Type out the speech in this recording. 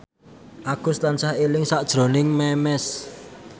Agus tansah eling sakjroning Memes